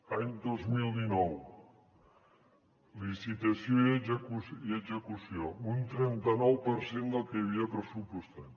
any dos mil dinou licitació i execució un trenta nou per cent del que hi havia pressupostat